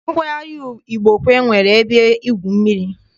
Ụlọ nkwari Igbokwe nwere ebe igwu mmiri.